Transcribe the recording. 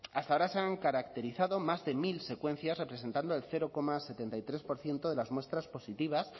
hasta ahora se han caracterizado más de mil secuencias representando el cero coma setenta y tres por ciento de las muestras positivas